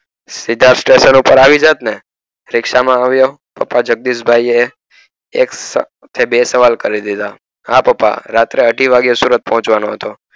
તો સ્ટેશન પર આવી જાત ને રીક્ષા માં વાયો આવ થતા જગદીશ ભાઈ એક ને બે સવાલ કરી દીધા હા પપ્પા રાત્રે અઢી વાગે સુરત પહોંચ વનો હતો.